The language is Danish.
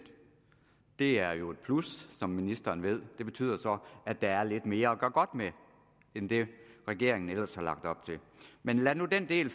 det er jo et plus som ministeren ved det betyder så at der er lidt mere at gøre godt med end det regeringen ellers har lagt op til men lad nu den del